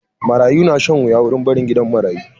Marayu na shan wuya wurin barin gidan marayu.